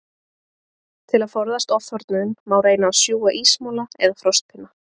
Til að forðast ofþornun, má reyna að sjúga ísmola eða frostpinna.